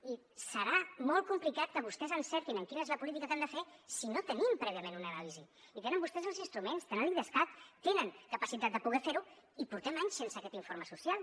i serà molt complicat que vostès encertin quina és la política que han de fer si no tenim prèviament una anàlisi i tenen vostès els instruments tenen l’idescat tenen capacitat de poder fer ho i portem anys sense aquest informe social